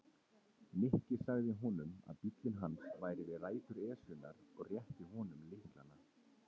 Nikki sagði honum að bíllinn hans væri við rætur Esjunnar og rétti honum lyklana.